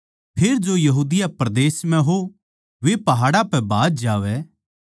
फेर जो यहूदिया परदेस म्ह हो वे पहाड़ां पै भाज जावैं